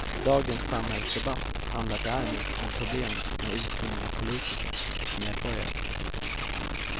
Dagens samhällsdebatt handlar däremot om problemet med okunniga politiker och medborgare.